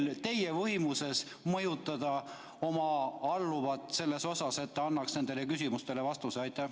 Kas teie võimuses on mõjutada oma alluvat, et ta annaks nendele küsimustele vastuse?